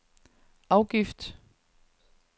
afgift